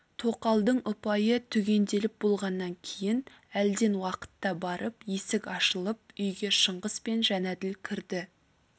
тоқалдың ұпайы түгенделіп болғаннан кейін әлден уақытта барып есік ашылып үйге шыңғыс пен жәнәділ кірді